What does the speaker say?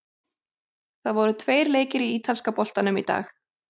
Það voru tveir leikir í ítalska boltanum í dag.